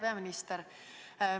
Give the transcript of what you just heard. Hea peaminister!